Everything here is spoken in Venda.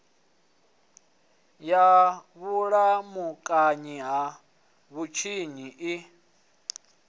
ya vhulamukanyi ha vhutshinyi i